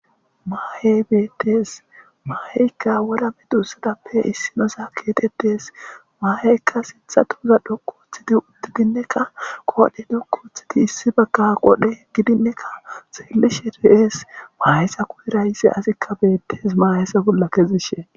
Maa7e beettees maa7eykka wora me duussadappe issinosa keetettees maaheykka sintha tuuza dhoku uthidi uddidinneka qoodhe duku uthiti issi bagka qodhe gidinnekka xeelishe re7ees maayessa kuheraysse asikka bettees maayesa bolla kezishe.